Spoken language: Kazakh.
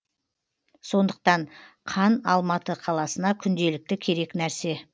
сондықтан қан алматы қаласына күнделікті керек нәрсе